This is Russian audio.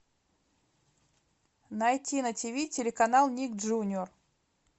найти на тв телеканал ник джуниор